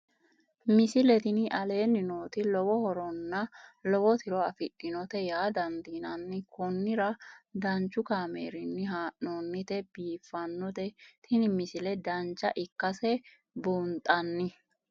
misile tini aleenni nooti lowo horonna lowo tiro afidhinote yaa dandiinanni konnira danchu kaameerinni haa'noonnite biiffannote tini misile dancha ikkase buunxanni